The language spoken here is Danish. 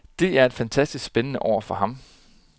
Det er et fantastisk spændende år for ham.